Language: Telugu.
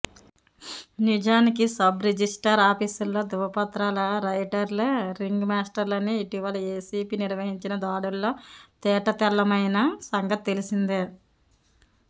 నిజానికి సబ్ రిజిస్ట్రార్ ఆఫీసుల్లో ధృవపత్రాల రైటర్లే రింగ్ మాస్టర్లని ఇటీవల ఏసీబీ నిర్వహించిన దాడుల్లో తేటతెల్లమైన సంగతి తెలిసిందే